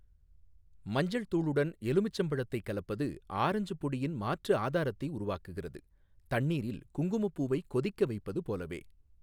மஞ்சள் தூளுடன் எலுமிச்சம்பழத்தைக் கலப்பது ஆரஞ்சுப் பொடியின் மாற்று ஆதாரத்தை உருவாக்குகிறது, தண்ணீரில் குங்குமப்பூவை கொதிக்க வைப்பது போலவே.